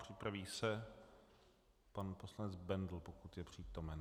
Připraví se pan poslanec Bendl, pokud je přítomen.